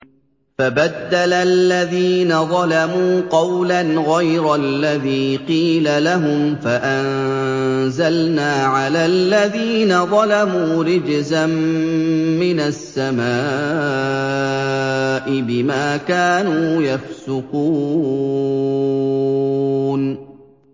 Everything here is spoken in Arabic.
فَبَدَّلَ الَّذِينَ ظَلَمُوا قَوْلًا غَيْرَ الَّذِي قِيلَ لَهُمْ فَأَنزَلْنَا عَلَى الَّذِينَ ظَلَمُوا رِجْزًا مِّنَ السَّمَاءِ بِمَا كَانُوا يَفْسُقُونَ